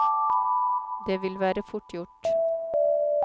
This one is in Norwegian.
Det vil være fort gjort.